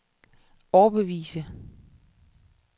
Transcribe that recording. overbevise